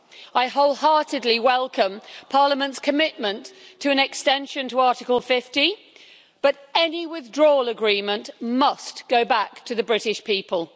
I wholeheartedly welcome Parliament's commitment to an extension of Article 50, but any withdrawal agreement must go back to the British people.